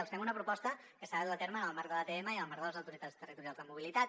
els fem una proposta que s’ha de dur a terme en el marc de l’atm i en el marc de les autoritats territorials de mobilitat